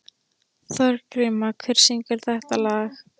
Þorgríma, hver syngur þetta lag?